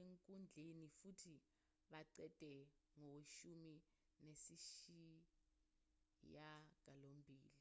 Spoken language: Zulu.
enkundleni futhi baqede koweshumi nesishiyagalombili